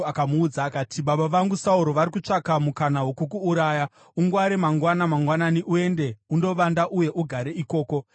akamuudza akati, “Baba vangu Sauro vari kutsvaka mukana wokukuuraya. Ungware, mangwana mangwanani; uende undovanda uye ugare ikoko.